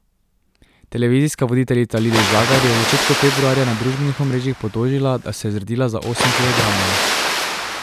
Televizijska voditeljica Lili Žagar je v začetku februarja na družbenih omrežjih potožila, da se je zredila za osem kilogramov.